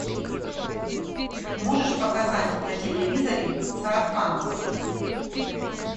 можешь показать на телевизоре сарафан